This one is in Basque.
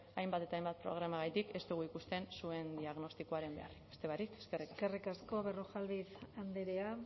hainbat eta hainbat programagatik ez dugu ikusten zuen diagnostikoaren beharrik beste barik eskerrik asko eskerrik asko berrojalbiz andrea